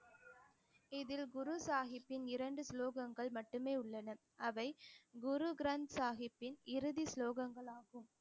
இதில் குரு சாகிப்பின் இரண்டு ஸ்லோகங்கள் மட்டுமே உள்ளன அவை குரு கிரந் சாகிப்பின் இறுதி ஸ்லோகங்கள் ஆகும்